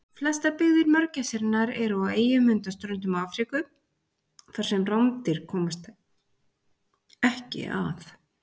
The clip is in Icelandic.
Flestar byggðir mörgæsarinnar eru á eyjum undan ströndum Afríku þar sem rándýr komast ekki að.